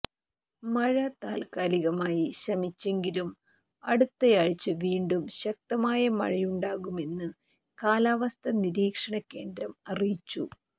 മഴ താത്കാലികമായി ശമിച്ചെങ്കിലും അടുത്തയാഴ്ച വീണ്ടും ശക്തമായ മഴയുണ്ടാകുമെന്ന് കാലാവസ്ഥ നിരീക്ഷണകേന്ദ്രം അറിയിച്ചു